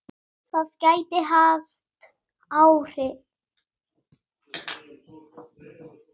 Það gæti haft áhrif.